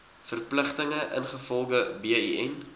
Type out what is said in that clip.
verpligtinge ingevolge bin